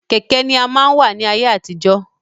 Kẹ̀kẹ́ ni a máa n wa ni ayé àtijọ́.